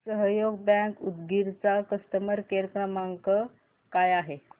सहयोग बँक उदगीर चा customer care क्रमांक काय आहे